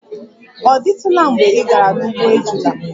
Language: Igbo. Ọ dịtụla mgbe ị gara n'ugbo ejula?